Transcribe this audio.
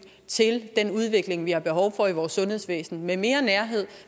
til den udvikling vi har behov for i vores sundhedsvæsen med mere nærhed